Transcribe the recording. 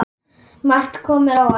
Margt kom mér á óvart.